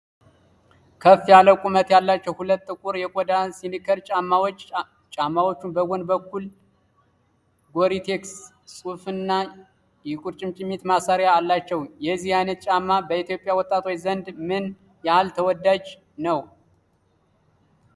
ከፍ ያለ ቁመት ያላቸው ሁለት ጥቁር የቆዳ ስኒከር ጫማዎች፣ ጫማዎቹ በጎን በኩል የ"GORE-TEX" ጽሑፍና የቁርጭምጭሚት ማሰሪያ አላቸው። የዚህ ዓይነቱ ጫማ በኢትዮጵያ ወጣቶች ዘንድ ምን ያህል ተወዳጅ ነው?